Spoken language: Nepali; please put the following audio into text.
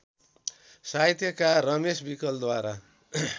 साहित्यकार रमेश विकलद्वारा